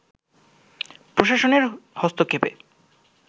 প্রশাসনের হস্তক্ষেপে